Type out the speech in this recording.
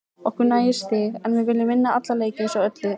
Okkur nægir stig en við viljum vinna alla leiki eins og öll lið.